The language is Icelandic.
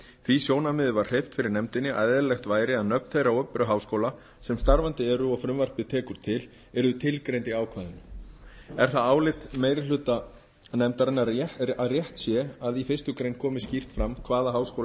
því sjónarmiði var hreyft fyrir nefndinni að eðlilegt væri að nöfn þeirra opinberu háskóla sem starfandi eru og frumvarpið tekur til yrðu tilgreind í ákvæðinu er það álit meiri hluta nefndarinnar að rétt sé að í fyrstu grein komi skýrt fram hvaða háskólar